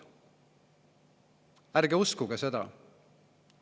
Ärge uskuge seda!